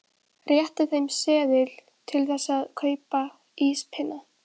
Rétti þeim seðil til þess að kaupa íspinna.